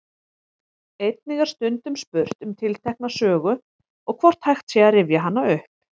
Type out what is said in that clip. Einnig er stundum spurt um tiltekna sögu og hvort hægt sé að rifja hana upp.